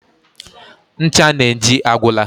Ncha Nengi agwụla.